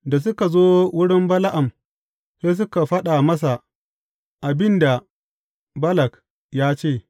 Da suka zo wurin Bala’am sai suka faɗa masa abin da Balak ya ce.